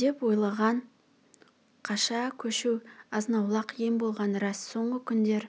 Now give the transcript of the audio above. деп ойлаған қаша көшу азнаулақ ем болғаны рас соңғы күндер